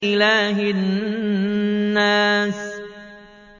إِلَٰهِ النَّاسِ